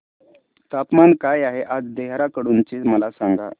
तापमान काय आहे आज देहराडून चे मला सांगा